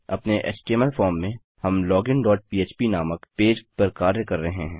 अपने HTML form में हम लोगिन डॉट पह्प नामक पेज पर कार्य कर रहे हैं